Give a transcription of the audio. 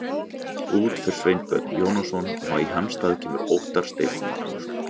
Út fer Sveinbjörn Jónasson og í hans stað kemur Óttar Steinn Magnússon.